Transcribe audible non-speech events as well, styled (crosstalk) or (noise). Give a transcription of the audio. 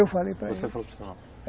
Eu falei para ele (unintelligible)